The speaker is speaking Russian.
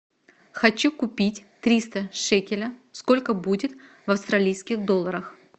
хочу купить триста шекеля сколько будет в австралийских долларах